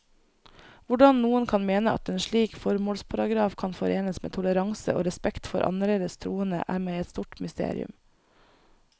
Hvordan noen kan mene at en slik formålsparagraf kan forenes med toleranse og respekt for annerledes troende, er meg et stort mysterium.